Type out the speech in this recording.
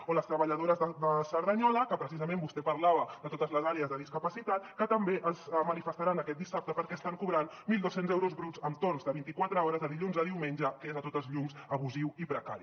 o les treballadores de cerdanyola que precisament vostè parlava de totes les àrees de discapacitat que també es manifestaran aquest dissabte perquè estan cobrant mil dos cents euros bruts amb torns de vint i quatre hores de dilluns a diumenge que és sense cap mena de dubte abusiu i precari